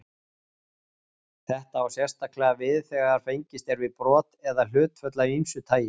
Þetta á sérstaklega við þegar fengist er við brot eða hlutföll af ýmsu tagi.